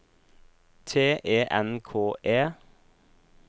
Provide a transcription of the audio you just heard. T E N K E